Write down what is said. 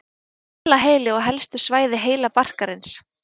Hvelaheili og helstu svæði heilabarkarins.